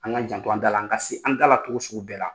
An ŋ'an janto an da la, an ka se an da la togo sugu bɛɛ la.